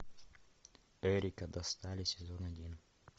эрика достали сезон один